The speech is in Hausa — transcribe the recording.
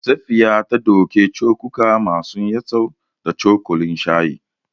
Safiya ta ɗauki cokuka masu yatsu da cokalin shayi.